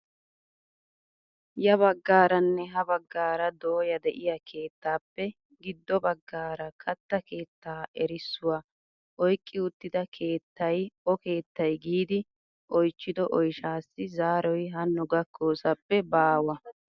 Ya baggaaranne ha baggaara dooya de'iyaa keettappe giddo baggaara katta keettaa erissuwaa oyqqi uttida keettay o keettay giidi oychchido oyshshasi zaroy haano gakkosappe baawa!